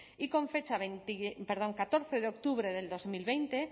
y con fecha veinti perdón catorce de octubre del dos mil veinte